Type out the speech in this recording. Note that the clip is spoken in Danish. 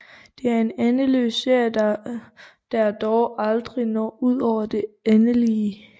Det er en endeløs serie der dog aldrig når ud over det endelige